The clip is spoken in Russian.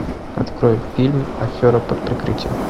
открой фильм афера под прикрытием